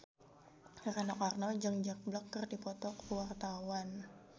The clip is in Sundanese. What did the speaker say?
Rano Karno jeung Jack Black keur dipoto ku wartawan